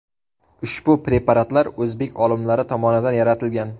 Ushbu preparatlar o‘zbek olimlari tomonidan yaratilgan.